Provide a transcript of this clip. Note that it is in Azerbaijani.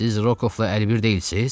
Siz Rukovla əlbir deyilsiz?